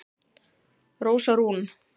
Rósa Rún